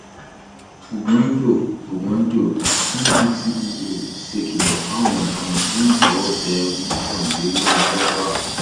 oògùn àjọ oògùn àjọ ndtea ṣèkìlọ fáwọn ọdaràn lẹyìn tọwọ tẹ mọkàndínláàádọfà